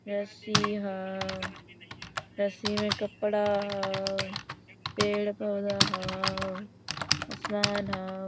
रस्सी हो रस्सी में कपड़ा हो पेड़ पौधा हो आसमान हो।